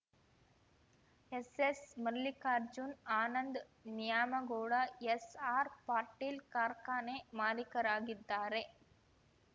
ಎಸ್‌ಎಸ್‌ಮಲ್ಲಿಕಾರ್ಜುನ್‌ ಆನಂದ್ ನ್ಯಾಮಗೌಡ ಎಸ್‌ಆರ್‌ಪಾಟೀಲ್‌ ಕಾರ್ಖಾನೆ ಮಾಲೀಕರಾಗಿದ್ದಾರೆ